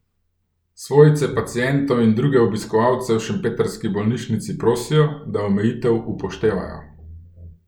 Svojce pacientov in druge obiskovalce v šempetrski bolnišnici prosijo, da omejitev upoštevajo.